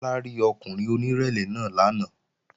Bọ́lá rí ọkùnrin onírẹ̀lẹ̀ náà lánàá